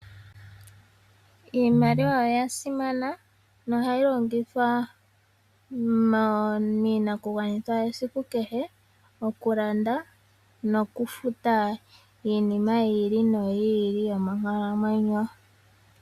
Iimaliwa oya simana, nohayi longithwa miinakugwanithwa yesike kehe, okulanda, nokufuta iinima yi ili noyi ili yonkalamwenyo.